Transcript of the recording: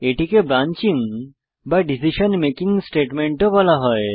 এটিকে ব্রাঞ্চিং বা decision making statement ও বলা হয়